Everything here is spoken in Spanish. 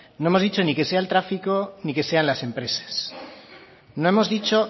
no hemos dicho ni que sea el tráfico ni que sean las empresas no hemos dicho